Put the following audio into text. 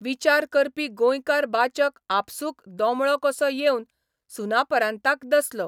विचार करपी गोंयकार बाचक आपसूक दोमळो कसो येवन सुनापरान्ताक दसलो.